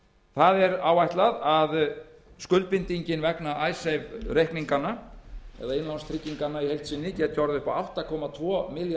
áætlað er að skuldbindingin vegna icesave reikninganna eða innlánstrygginganna í heild sinni geti orðið upp á átta komma tvo milljarða bandaríkjadala og